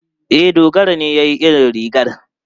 E, Dogara na iya yin rigar.